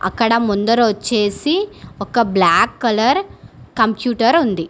అక్కడ ముందర వచ్చేసి ఒక బ్లాక్ కలర్ కంప్యూటర్ ఉంది.